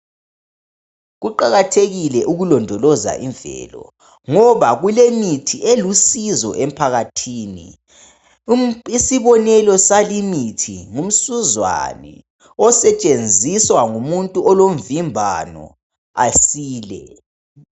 Kuqakathekile ukulondoloza imvelo ngoba kulemithi elusizo emphakathini. Isibonelo salimithi ngumsuzwane osetshenziswa ngumuntu olomvimbano asile.